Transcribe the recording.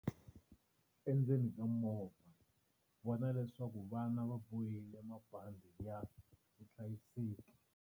Endzeni ka movha, vona leswaku vana va bohile mabandhi ya vuhlayiseki.